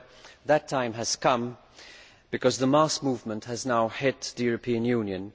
Well, that time has come, because the mass movement has now hit the European Union.